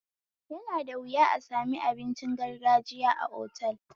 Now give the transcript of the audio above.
Yana da wuya a sami abincin gargajiya a otal